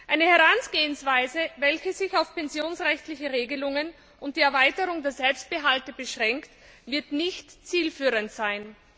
Eine Herangehensweise, welche sich auf pensionsrechtliche Regelungen und die Erweiterung der Selbstbehalte beschränkt, wird nicht zielführend sein.